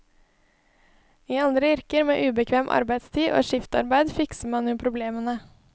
I andre yrker med ubekvem arbeidstid og skiftarbeide fikser man jo problemene.